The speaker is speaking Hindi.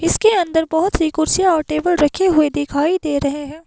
इसके अंदर बहुत सी कुर्सियां और टेबल रखे हुए दिखाई दे रहे हैं।